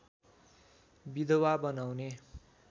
विधवा बनाउने